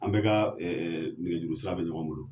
An bɛka ka ɛ ɛ nɛgɛjuru sira be ɲɔgɔn bolo